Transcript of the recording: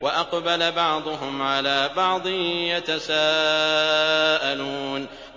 وَأَقْبَلَ بَعْضُهُمْ عَلَىٰ بَعْضٍ يَتَسَاءَلُونَ